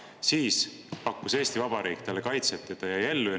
Siis pakkus Eesti Vabariik talle kaitset ja ta jäi ellu.